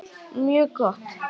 Mjög gott!